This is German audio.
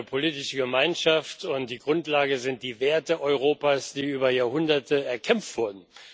Sie ist eine politische Gemeinschaft, und die Grundlage sind die Werte Europas, die über Jahrhunderte erkämpft wurden.